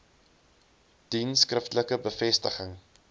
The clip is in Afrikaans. dien skriftelike bevestiging